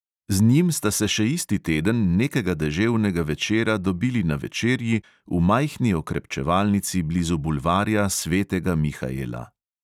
Z njim sta se še isti teden nekega deževnega večera dobili na večerji v majhni okrepčevalnici blizu bulvarja svetega mihaela.